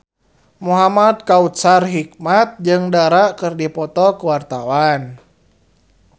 Muhamad Kautsar Hikmat jeung Dara keur dipoto ku wartawan